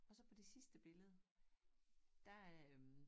Og så på det sidste billede der øh